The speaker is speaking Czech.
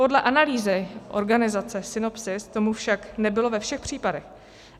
Podle analýzy organizace Sinopsis tomu však nebylo ve všech případech.